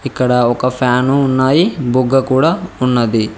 ఇక్కడ ఒక ఫ్యాను ఉన్నాయి బుగ్గ కూడా ఉన్నది.